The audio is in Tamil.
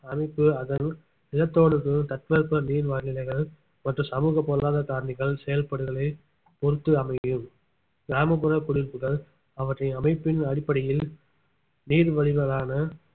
அமைப்பு அதன் நிலத்தோ~ தட்பவெப்ப நீர்நிலைகள் மற்றும் சமூக பொருளாதார காரணிகள் செயல்பாடுகளை பொறுத்து அமையும் கிராமப்புற குடியிருப்புகள் அவற்றின் அமைப்பின் அடிப்படையில் நீர் வடிவளான